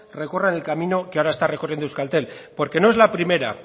recorran el camino que ahora está recorriendo euskaltel porque no es la primera